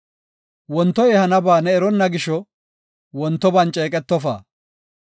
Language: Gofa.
Wontoy ehanaba ne eronna gisho wontoban ceeqetofa.